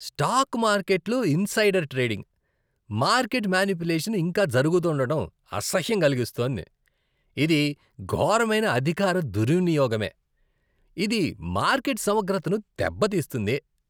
Stock మార్కెట్లో insider trading, market manipulation ఇంకా జరుగుతుండడం అసహ్యం కలిగిస్తోంది. ఇది ఘోరమైన అధికార దుర్వినియోగమే, ఇది మార్కెట్ సమగ్రతను దెబ్బతీస్తుంది.